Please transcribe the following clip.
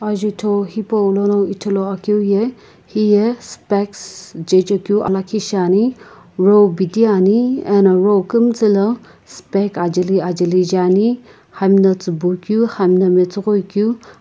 azotho hipou lono ithulu akeu ye hiya specks jaeka keu aaliikhi shiane row biti Ani ano row kiimtsii lo speck ajali ajali ani hamna tsiibui ku hamna mastoghoi ku.